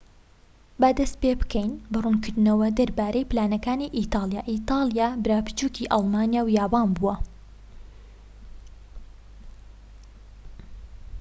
با دەست پێبکەین بە ڕوونکردنەوە دەربارەی پلانەکانی ئیتاڵیا ئیتالیا برا بچوکی ئەڵمانیا و یابان بووە